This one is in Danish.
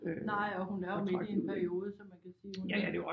Nej og hun er jo midt i en periode så man kan sige hun er